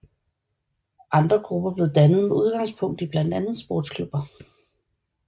Andre grupper blev dannet med udgangspunkt i blandt andet sportsklubber